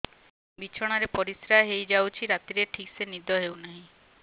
ବିଛଣା ରେ ପରିଶ୍ରା ହେଇ ଯାଉଛି ରାତିରେ ଠିକ ସେ ନିଦ ହେଉନାହିଁ